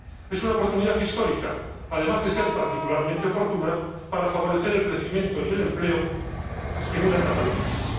Es una oportunidad histórica, además de ser particularmente oportuna, para favorecer el crecimiento y el empleo en una etapa de crisis.